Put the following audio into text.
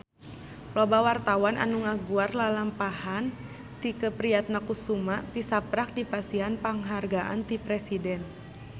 Loba wartawan anu ngaguar lalampahan Tike Priatnakusuma tisaprak dipasihan panghargaan ti Presiden